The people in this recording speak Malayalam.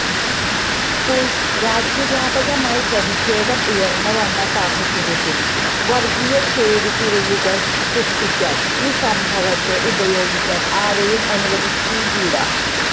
ഇപ്പോൾ രാജ്യവ്യാപകമായി പ്രതിഷേധം ഉയർന്നുവന്ന സാഹചര്യത്തിൽ വർഗീയ ചേരിതിരിവുകൾ സൃഷ്ടിക്കാൻ ഈ സംഭവത്തെ ഉപയോഗിക്കാൻ ആരെയും അനുവദിച്ചുകൂട